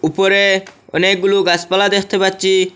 উপরে অনেকগুলু গাছপালা দেখতে পাচ্ছি।